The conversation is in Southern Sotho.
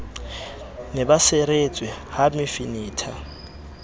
ne ba seretswe ha mefenetha